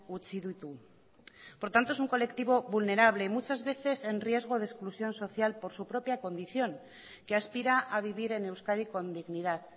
utzi ditu por tanto es un colectivo vulnerable muchas veces en riesgo de exclusión social por su propia condición que aspira a vivir en euskadi con dignidad